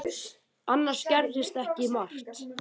Annars gerðist ekki margt.